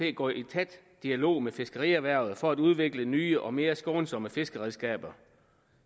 at gå i tæt dialog med fiskerierhvervet for at udvikle nye og mere skånsomme fiskeredskaber